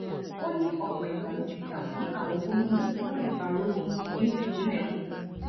ó ní ọpọ ìgbà ló ti jà fún àwọn gómìnà kí wọn lè bàa rówó ná ní ìpínlẹ wọn